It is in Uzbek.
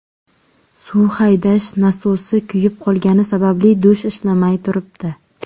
Suv haydash nasosi kuyib qolgani sababli dush ishlamay turibdi.